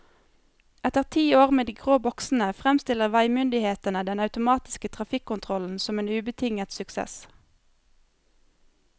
Etter ti år med de grå boksene fremstiller veimyndighetene den automatiske trafikkontrollen som en ubetinget suksess.